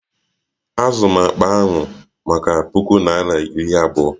Azụrụ m akpa ahụ maka puku naira iri abụọ